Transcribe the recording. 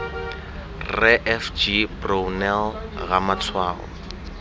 rre f g brownell ramatshwao